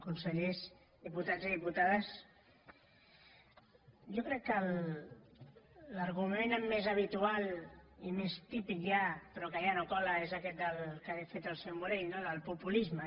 consellers diputats i diputades jo crec que l’argument més habitual i més típic ja però que ja no cola és aquest que ha fet el senyor morell no del populisme